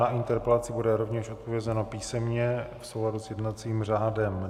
Na interpelaci bude rovněž odpovězeno písemně v souladu s jednacím řádem.